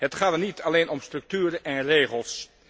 Het gaat dan niet alleen om structuren en regels.